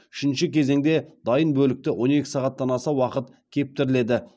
үшінші кезенде дайын бөлікті он екі сағаттан аса уақыт кептіріледі